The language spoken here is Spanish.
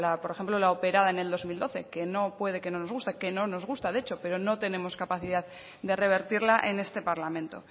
por ejemplo la operada en el dos mil doce que puede que no nos guste que no nos gusta de hecho pero no tenemos capacidad de revertirla en este parlamento